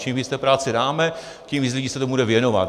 Čím víc práce jim dáme, tím víc lidí se tomu bude věnovat.